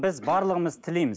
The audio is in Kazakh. біз барлығымыз тілейміз